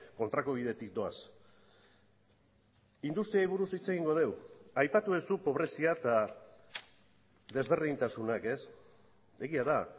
kontrako bidetik doaz industriari buruz hitz egingo dugu aipatu duzu pobrezia eta desberdintasunak egia da